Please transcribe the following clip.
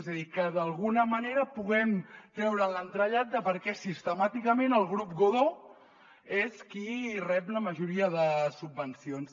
és a dir que d’alguna manera pu·guem treure l’entrellat de per què sistemàticament el grup godó és qui rep la ma·joria de subvencions